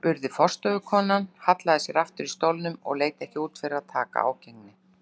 spurði forstöðukonan, hallaði sér aftur í stólnum og leit ekki út fyrir að taka ágengni